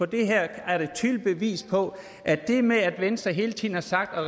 det her er et tydeligt bevis på at det med at venstre hele tiden har sagt at